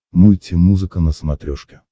мульти музыка на смотрешке